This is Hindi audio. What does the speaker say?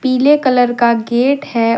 पीले कलर का गेट है।